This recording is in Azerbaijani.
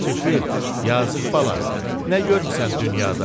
Tifil, yazıq bala, nə görmüsən dünyada?